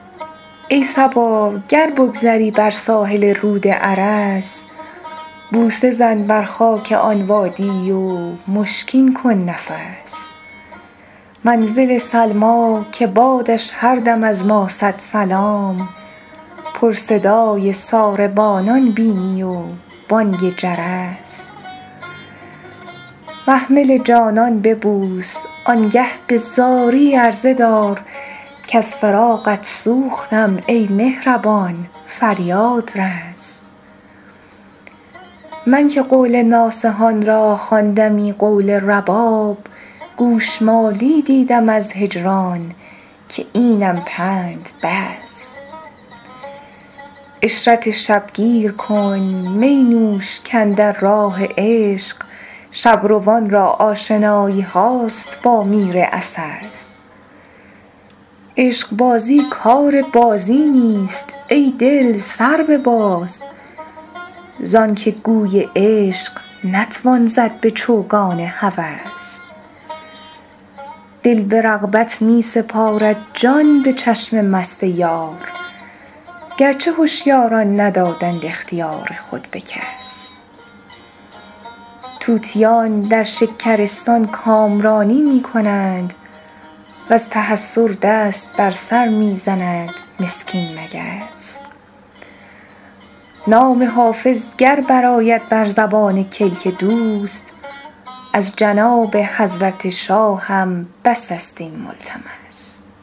ای صبا گر بگذری بر ساحل رود ارس بوسه زن بر خاک آن وادی و مشکین کن نفس منزل سلمی که بادش هر دم از ما صد سلام پر صدای ساربانان بینی و بانگ جرس محمل جانان ببوس آن گه به زاری عرضه دار کز فراقت سوختم ای مهربان فریاد رس من که قول ناصحان را خواندمی قول رباب گوش مالی دیدم از هجران که اینم پند بس عشرت شب گیر کن می نوش کاندر راه عشق شب روان را آشنایی هاست با میر عسس عشق بازی کار بازی نیست ای دل سر بباز زان که گوی عشق نتوان زد به چوگان هوس دل به رغبت می سپارد جان به چشم مست یار گر چه هشیاران ندادند اختیار خود به کس طوطیان در شکرستان کامرانی می کنند و از تحسر دست بر سر می زند مسکین مگس نام حافظ گر برآید بر زبان کلک دوست از جناب حضرت شاهم بس است این ملتمس